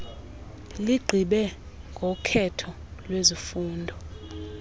ligqibe ngokhetho lwezifundo